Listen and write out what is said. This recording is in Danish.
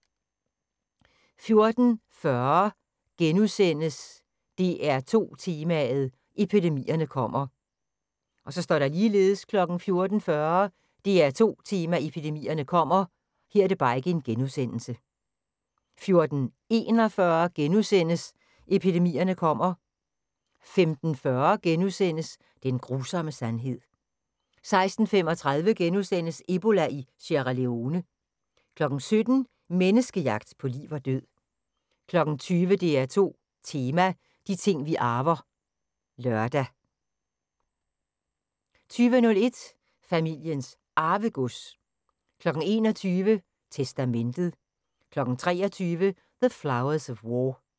14:40: DR2 Tema: Epidemierne kommer... * 14:40: DR2 Tema: Epidemierne kommer 14:41: Epidemierne kommer... * 15:40: Den grusomme sandhed * 16:35: Ebola i Sierra Leone * 17:00: Menneskejagt på liv og død 20:00: DR2 Tema: De ting vi arver (lør) 20:01: Familiens Arvegods 21:00: Testamentet 23:00: The Flowers of War